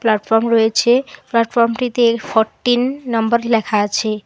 Platform রয়েছে প্লাটফর্মটিতে fourteen number লেখা আছে।